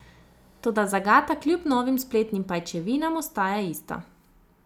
Toda zagata kljub novim spletnim pajčevinam ostaja ista.